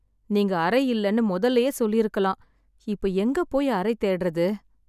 நீங்க அறை இல்லைன்னு முதல்லயே சொல்லிருக்கலாம், இப்ப எங்க போய் அறை தேடுறது?